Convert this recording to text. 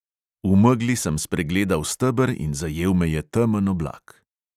V megli sem spregledal steber in zajel me je temen oblak.